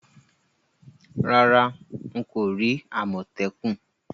Rárá, n ko ri àmòtẹ́kùn